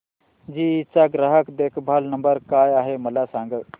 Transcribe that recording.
GE चा ग्राहक देखभाल नंबर काय आहे मला सांग